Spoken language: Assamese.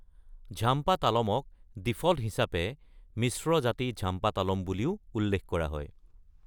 ঝাম্পা তালমক ডিফল্ট হিচাপে মিশ্ৰ-জাতি ঝাম্পা তালম বুলিও উল্লেখ কৰা হয়।